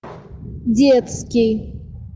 детский